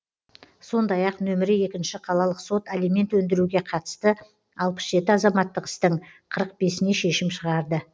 сондай ақ нөмірі екінші қалалық сот алимент өндіруге қатысты алпыс жеті азаматтық істің қырық бесіне шешім шығарды